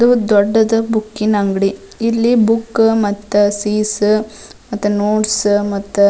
ದೊಡ್ಡದು ಬುಕ್ಕಿನ ಅಂಗಡಿ ಇಲ್ಲಿ ಬುಕ್ ಮತ್ತ ಸೀಸ್ ಮತ್ತ ನೋಟ್ಸ್ ಮತ್ತ --